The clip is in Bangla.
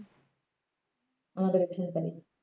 আমাদের এখানে বাড়ি